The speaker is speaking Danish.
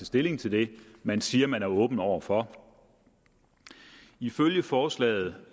stilling til det man siger man er åben over for ifølge forslaget